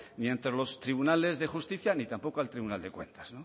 ni ante los tribunales de justicia ni tampoco al tribunal de cuentas